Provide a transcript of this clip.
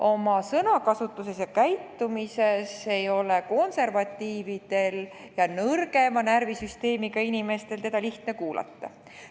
Oma sõnakasutuses ja käitumises ei ole konservatiividel ja nõrgema närvisüsteemiga inimestel teda lihtne kuulata.